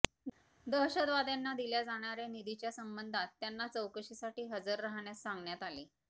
दहशतवाद्यांना दिल्या जाणाऱ्या निधीच्या संबंधात त्यांना चौकशीसाठी हजर राहण्यास सांगण्यात आले